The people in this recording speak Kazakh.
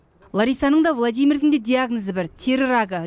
ларисаның да владимирдің де диагнозы бір тері рагы